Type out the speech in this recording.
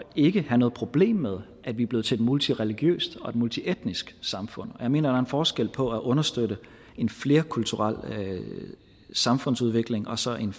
ikke have noget problem med at vi er blevet til et multireligiøst og et multietnisk samfund jeg mener er en forskel på at understøtte en flerkulturel samfundsudvikling og så en